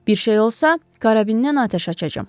Bir şey olsa, karabindən atəş açacağam.